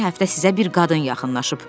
Keçən həftə sizə bir qadın yaxınlaşıb.